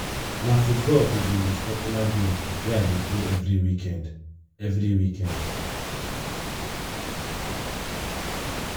na football be di most popular game wey i dey play every weekend. every weekend.